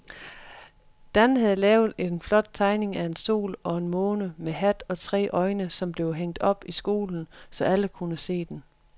Dan havde lavet en flot tegning af en sol og en måne med hat og tre øjne, som blev hængt op i skolen, så alle kunne se den.